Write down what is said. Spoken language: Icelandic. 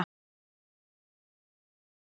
Er ekki lýðræði á þessu landi?